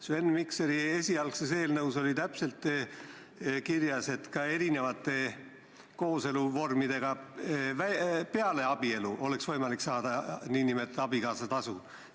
Sven Mikseri esialgses eelnõus oli täpselt kirjas, et ka erinevate teiste kooseluvormide puhul peale abielu oleks võimalik saada nn abikaasatasu.